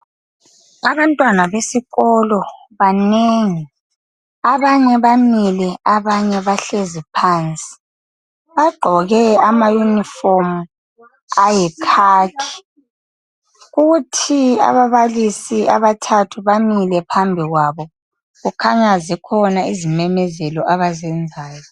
Abantwana besikolo banengi, abanye bamile abanye bahlezi phansi, bagqoke ama uniform ayi khakhi, kuthi ababalisi abathathu bamile phambi kwabo kukhanya zikhona izimemezelo abazenzayo.